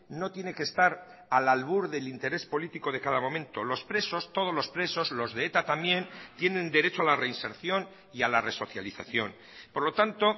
no tiene que estar al albur del interés político de cada momento los presos todos los presos los de eta también tienen derecho a la reinserción y a la resocialización por lo tanto